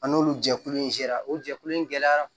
A n'olu jɛkulu in sera o jɛkulu in gɛlɛyara